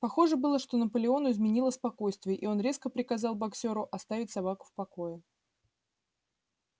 похоже было что наполеону изменило спокойствие и он резко приказал боксёру оставить собаку в покое